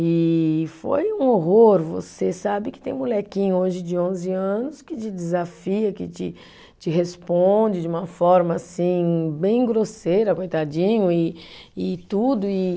E foi um horror, você sabe que tem molequinho hoje de onze anos que te desafia, que te te responde de uma forma assim bem grosseira, coitadinho, e e tudo e.